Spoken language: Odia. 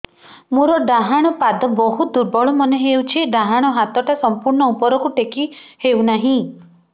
ମୋର ଡାହାଣ ପାଖ ବହୁତ ଦୁର୍ବଳ ମନେ ହେଉଛି ଡାହାଣ ହାତଟା ସମ୍ପୂର୍ଣ ଉପରକୁ ଟେକି ହେଉନାହିଁ